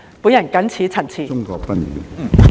我謹此陳辭。